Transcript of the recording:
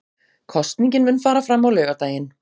Kosningin mun fara fram á laugardaginn